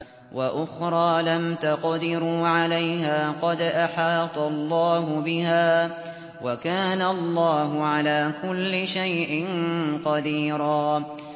وَأُخْرَىٰ لَمْ تَقْدِرُوا عَلَيْهَا قَدْ أَحَاطَ اللَّهُ بِهَا ۚ وَكَانَ اللَّهُ عَلَىٰ كُلِّ شَيْءٍ قَدِيرًا